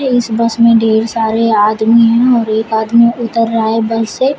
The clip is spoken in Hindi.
इस बस में ढेर सारे आदमी है और एक आदमी उतर रहा है बस से।